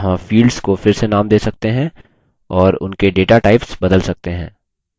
यहाँ fields को फिर से नाम दे सकते हैं और उनके data types बदल सकते हैं